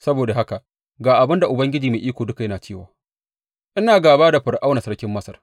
Saboda haka ga abin da Ubangiji Mai Iko Duka yana cewa ina gāba da Fir’auna sarkin Masar.